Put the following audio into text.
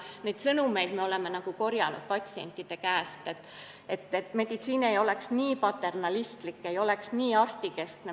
Selliseid sõnumeid me oleme korjanud patsientide käest, et meditsiin ei oleks nii paternalistlik, et see ei oleks nii arstikeskne.